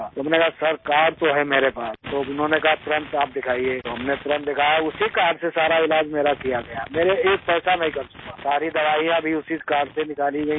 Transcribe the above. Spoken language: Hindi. तो मैंने कहा सिर कार्ड तो है मेरे पास तो उन्होंने कहा तुरंत आप दिखाइए तो हमने तुरंत दिखाया उसी कार्ड से सारा इलाज़ मेरा किया गया मेरे एक पैसा नहीं खर्च हुआ सारी दवाइयां भी उसी कार्ड से निकाली गई हैं